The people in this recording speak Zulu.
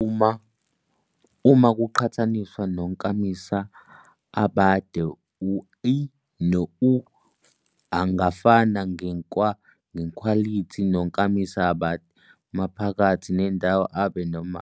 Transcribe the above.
Uma kuqhathaniswa nonkamisa abade i no u angafana ngekhwalithi nonkamisa abade, maphakathi nendawo abe noma abe.